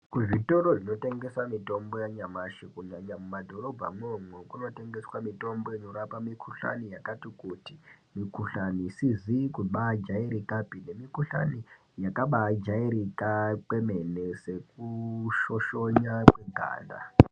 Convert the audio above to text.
Kuzvitoro zvinotengesa mitombo yanyamashi kunyanya mumadhorobha mwomwo, kunotengeswa mitombo inorapa mikuhlani yakati kuti. Mikuhlani isizi kubajairikapi nemikuhlani yakabajairika kwemene sekushoshonya kweganda.